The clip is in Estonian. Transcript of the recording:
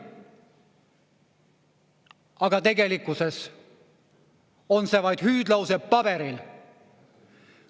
Aga tegelikkuses on see vaid hüüdlause paberil.